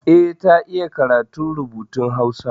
Eh, ta iya karatun rubutun Hausa.